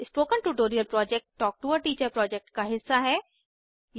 spoken tutorial project talk to a teacher project का हिस्सा है